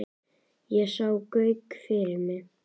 Og ég sá Gauk fyrir mér.